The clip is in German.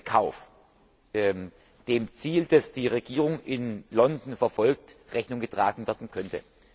ihren Kauf dem Ziel, das die Regierung in London verfolgt, Rechnung getragen werden könnte.